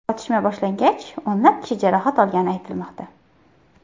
Otishma boshlangach, o‘nlab kishi jarohat olgani aytilmoqda.